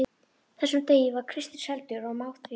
þessum degi var Kristur seldur og má það því ekki.